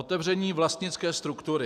Otevření vlastnické struktury.